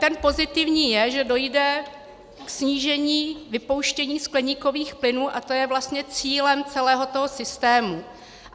Ten pozitivní je, že dojde k snížení vypouštění skleníkových plynů, a to je vlastně cílem celého toho systému.